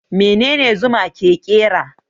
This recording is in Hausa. Menene Zuma ke kera?